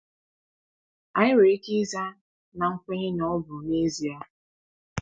Anyị nwere ike ịza na nkwenye na ọ bụ n’ezie!